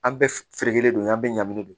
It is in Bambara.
An bɛ feere don an bɛɛ ɲangilen don